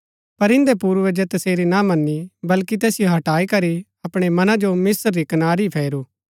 पर इन्दै पूर्वजै तसेरी ना मनी बल्कि तैसिओ हटाईकरी अपणै मना जो मिस्त्र री कनारी ही फेरू